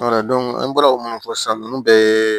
an bɔra o minnu fɔ sisan ninnu bɛɛ ye